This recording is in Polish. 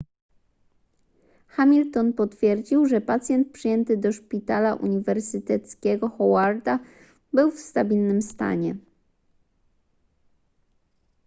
hamilton potwierdził że pacjent przyjęty do szpitala uniwersyteckiego howarda był w stabilnym stanie